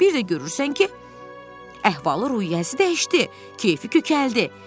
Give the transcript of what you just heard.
Bir də görürsən ki, əhval-ruhiyyəsi dəyişdi, keyfi kökəldi.